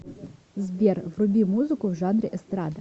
сбер вруби музыку в жанре эстрада